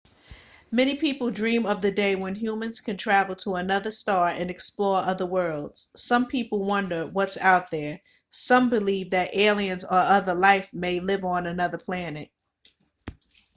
many people dream of the day when humans can travel to another star and explore other worlds some people wonder what's out there some belive that aliens or other life may live on another plant